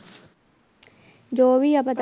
ਜੋ ਵੀ ਆ